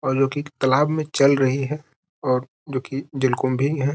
और जो कि तालाब में चल रही है और जो कि जलकुम्भी है।